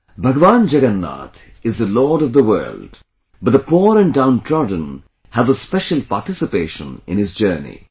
Bhagwan Jagannath is the lord of the world, but the poor and downtrodden have a special participation in his journey